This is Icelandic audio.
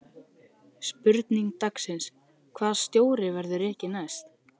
Spurning dagsins: Hvaða stjóri verður rekinn næst?